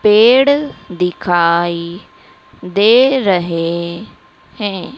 पेड़ दिखाई दे रहे हैं।